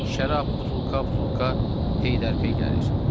Şərab butulka-butulka peydər-pey gəlir.